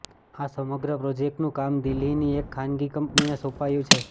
આ સમગ્ર પ્રોજેક્ટનું કામ દિલ્હીની એક ખાનગી કંપનીને સોંપાયું છે